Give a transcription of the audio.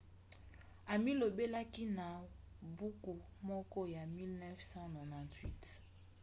amilobelaki na buku moko ya 1998